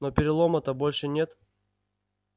но перелома-то больше нет